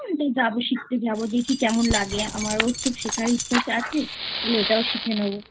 তাই যাবো শিখতে যাবো দেখি কেমন লাগে আমার খুব শেখার ইচ্ছা আছে ওটাও শিখে নেবোI